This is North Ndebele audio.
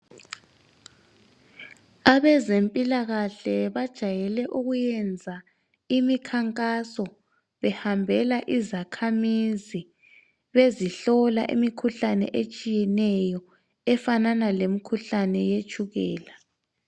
Abezempilakahle bajayele ukuyenza imikhankaso behambela izakhamuzi bezihlola imikhuhlane etshiyeneyo. Efanana lemikhuhlane yetshukela.